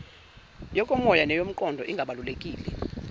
yokomoya neyomqondo ingabalulekile